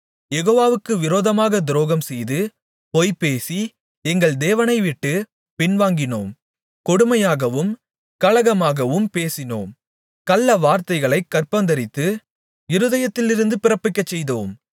யெகோவாவுக்கு விரோதமாகத் துரோகம்செய்து பொய்பேசி எங்கள் தேவனைவிட்டுப் பின்வாங்கினோம் கொடுமையாகவும் கலகமாகவும் பேசினோம் கள்ளவார்த்தைகளைக் கர்ப்பந்தரித்து இருதயத்திலிருந்து பிறப்பிக்கச்செய்தோம்